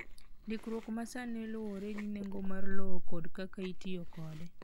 Ndikruok ma sani luwore gi nengo mar lowo kod kaka itiyo kode.